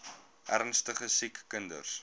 ernstige siek kinders